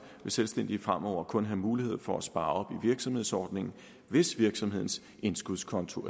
vil selvstændige fremover kun have mulighed for at spare op i virksomhedsordningen hvis virksomhedens indskudskonto